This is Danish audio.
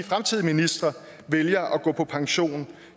fremtidige ministre vælger at gå på pension